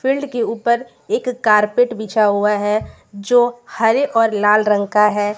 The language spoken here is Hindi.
फील्ड के ऊपर एक कारपेट विछा हुआ है जो हरे और लाल रंग का है।